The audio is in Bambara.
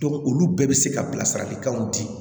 olu bɛɛ bɛ se ka bilasiralikanw di